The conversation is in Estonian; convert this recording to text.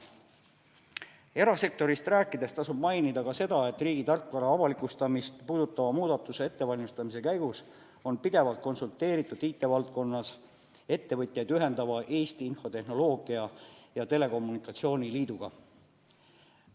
Erasektorist rääkides tasub mainida ka seda, et riigi tarkvara avalikustamist puudutava muudatuse ettevalmistamise käigus on pidevalt konsulteeritud IT-valdkonna ettevõtjaid ühendava Eesti Infotehnoloogia ja Telekommunikatsiooni Liiduga.